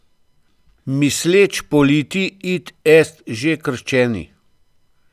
Misleč politi, id est že krščeni?